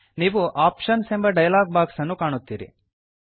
ನೀವು ಆಪ್ಷನ್ಸ್ ಎಂಬ dialog box ಅನ್ನು ಕಾಣುತ್ತೀರಿ